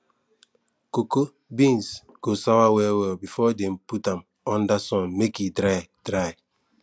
cocoa beans go sour well well before dem put am under sun make e dry dry